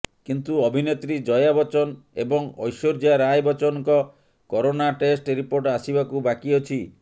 କିନ୍ତୁ ଅଭିନେତ୍ରୀ ଜୟା ବଚ୍ଚନ ଏବଂ ଐଶ୍ଟର୍ଯ୍ୟା ରାୟ ବଚ୍ଚନଙ୍କ କରୋନା ଟେଷ୍ଟ ରିପୋର୍ଟ ଆସିବାକୁ ବାକି ଅଛି